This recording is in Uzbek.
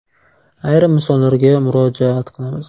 Ayrim misollarga murojaat qilamiz.